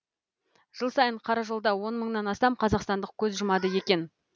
жыл сайын қаражолда он мыңнан астам қазақстандық көз жұмады екен